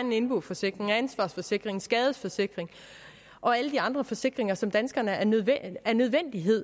en indboforsikring en ansvarsforsikring en skadesforsikring og alle de andre forsikringer som danskerne er nødt